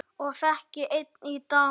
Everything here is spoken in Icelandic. Og þekki enn í dag.